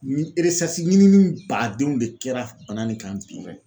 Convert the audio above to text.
Ni ɲinini badenw de kɛra bana nin kan